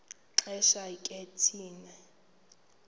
xesha ke thina